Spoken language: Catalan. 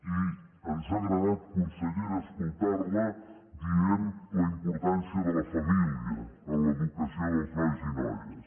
i ens ha agradat consellera escoltar la dient la importància de la família en l’educació dels nois i noies